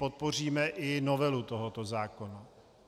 Podpoříme i novelu tohoto zákona.